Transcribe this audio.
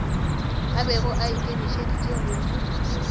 a bego a ikemišeditše go